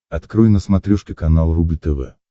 открой на смотрешке канал рубль тв